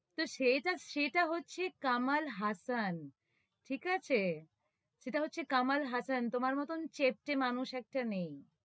তহ সেটা, সেটা হচ্ছে কমল হাসান ঠিক আছে? সেটা হচ্ছে কমল হাসান, তুমার মতন মানুষ একটা নেই।